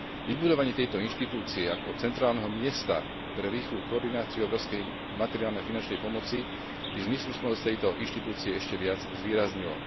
Vybudovanie tejto inštitúcie ako centrálneho miesta pre rýchlu koordináciu európskej materiálnej a finančnej pomoci by zmysluplnosť tejto inštitúcie ešte viac zvýraznilo.